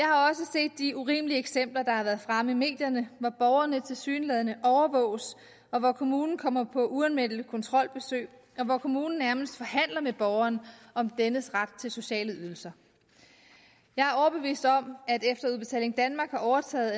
set de urimelige eksempler der har været fremme i medierne hvor borgerne tilsyneladende overvåges og hvor kommunen kommer på uanmeldte kontrolbesøg og hvor kommunen nærmest forhandler med borgeren om dennes ret til sociale ydelser jeg er overbevist om at efter udbetaling danmark har overtaget